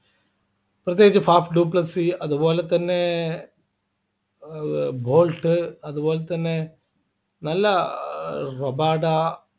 പ്രത്യേകിച്ച് fast duplexy അതുപോലെതന്നെ air bolt അതുപോലെതന്നെ നല്ല ആഹ് റോബാട